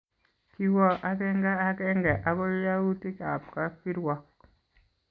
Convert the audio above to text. Kiwo agenge agenge akoi yautikab kapkirwok